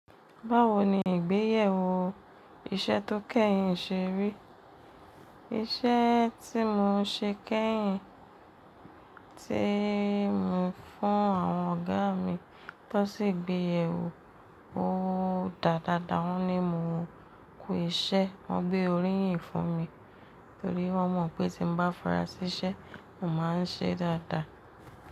Báwo ni ìgbéyèwò iṣẹ́ tó kẹ́yìn ṣe rí? Iṣẹ́ tí mo ṣe kẹ́yìn tí mo fún àwọn ọ̀gá mi tó sì gbéyè wò ó dáa dáa dáa, wọ́n ni mo kú iṣẹ́, wọ́n gbé oríyìn fún mi torí wọ́n mọ̀ pé tí m bá fara siṣẹ́, mo máa ń ṣe dáa dáa.